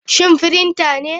Shin printer ne?